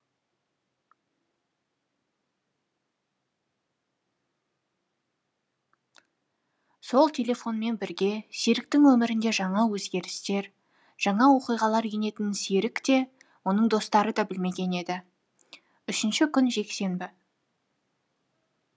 сол телефонмен бірге серіктің өмірінде жаңа өзгерістер жаңа оқиғалар енетінін серік те оның достары да білмеген еді үшінші күн жексенбі